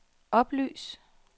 oplys